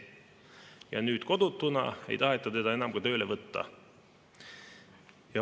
Ja nüüd kodutuna ei taheta teda enam tööle võtta.